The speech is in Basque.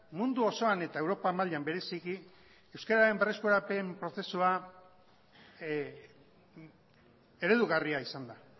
mundu osoan eta europa mailan bereziki euskeraren berreskurapen prozesua eredugarria izan da